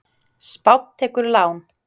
Spánn tekur lán